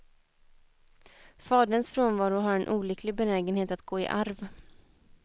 Faderns frånvaro har en olycklig benägenhet att gå i arv.